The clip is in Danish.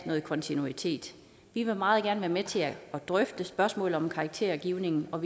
noget kontinuitet vi vil meget gerne være med til at drøfte spørgsmålet om karaktergivning og